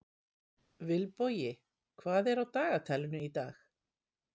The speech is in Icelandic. Vilbogi, hvað er á dagatalinu í dag?